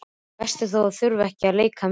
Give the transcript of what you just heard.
Best er þó að þurfa ekki að leika meira.